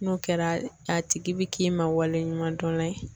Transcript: N'o kɛra a tigi bi k'i ma waleɲumandɔn la ye